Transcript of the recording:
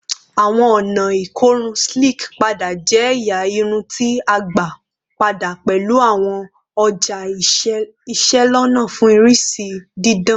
Awọn ọna ikorun Slick pada jẹ ẹya irun ti a gba pada pẹlu awọn ọja iselona fun irisi didan